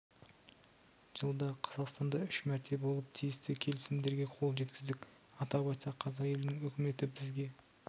жылда қазақстанда үш мәрте болып тиісті келісімдерге қол жеткіздік атап айтсақ қазақ елінің үкіметі бізге